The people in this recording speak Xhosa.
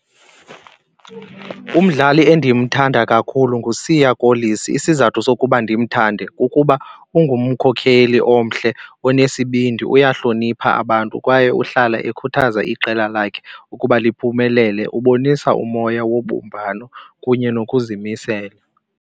Umdlali endimthanda kakhulu nguSiya Kolisi. Isizathu sokuba ndimthande kukuba ungumkhokheli omhle onesibindi, uyahlonipha abantu kwaye uhlala ekhuthaza iqela lakhe ukuba liphumelele. Ubonisa umoya wobumbano kunye nokuzimisela.